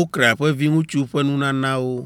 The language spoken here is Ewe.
Okran ƒe viŋutsu ƒe nunanawo.